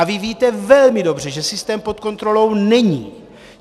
A vy víte velmi dobře, že systém pod kontrolou není.